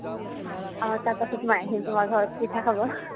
অ, তাৰপাছত মই আহিম তোমাৰ ঘৰত পিঠা খাব